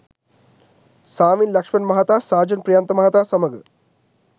සාවින් ලක්‍ෂ්මන් මහතා සාජන් ප්‍රියන්ත මහතා සමඟ